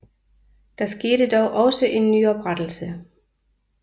Der skete dog også en nyoprettelse